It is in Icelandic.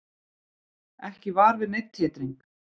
Ekki var við neinn titring